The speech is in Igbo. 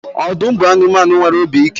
Ọdụm bụ anụmanụ nwere obi ike